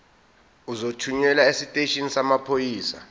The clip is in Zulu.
uzothunyelwa esiteshini samaphoyisa